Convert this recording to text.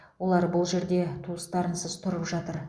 олар бұл жерде туыстарынсыз тұрып жатыр